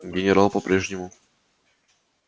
генерал по прежнему